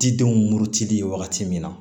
Didenw murutili wagati min na